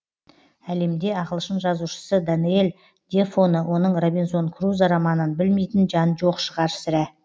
әлемде ағылшын жазушысы даниэль дефоны оның робинзон крузо романын білмейтін жан жоқ шығар сірә